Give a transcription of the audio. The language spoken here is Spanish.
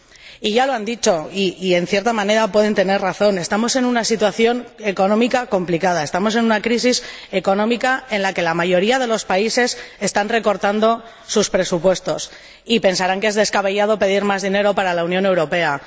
Y ya lo han dicho y, en cierta manera, pueden tener razón estamos en una situación económica complicada, estamos en una crisis económica en la que la mayoría de los países están recortando sus presupuestos, y pensarán que es descabellado pedir más dinero para la Unión Europea.